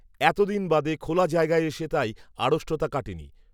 এত দিন বাদে খোলা জায়গায় এসে তাই, আড়ষ্টতা কাটেনি